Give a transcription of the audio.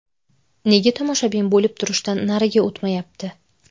Nega tomoshabin bo‘lib turishdan nariga o‘tmayapti?